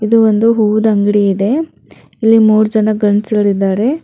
ಇದು ಒಂದು ಹೂದಂಗಡಿ ಇದೆ ಇಲ್ಲಿ ಮೂರು ಜನ ಗಂಡ್ಸುಗಳಿದ್ದಾರೆ.